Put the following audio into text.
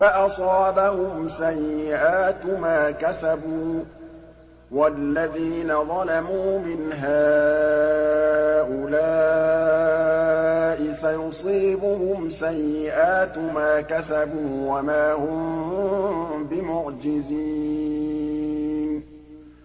فَأَصَابَهُمْ سَيِّئَاتُ مَا كَسَبُوا ۚ وَالَّذِينَ ظَلَمُوا مِنْ هَٰؤُلَاءِ سَيُصِيبُهُمْ سَيِّئَاتُ مَا كَسَبُوا وَمَا هُم بِمُعْجِزِينَ